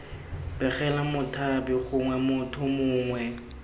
begela mothapi gongwe motho mongwe